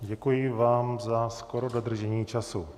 Děkuji vám za skoro dodržení času.